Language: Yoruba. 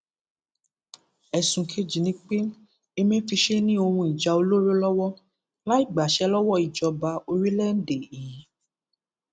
ẹsùn kejì ni pé emefíse ní ohun ìjà olóró lọwọ láì gbàṣẹ lọwọ ìjọba orílẹèdè yìí